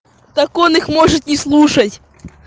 так он их может не слушать